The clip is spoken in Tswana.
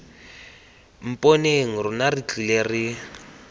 mponeng rona re tlile re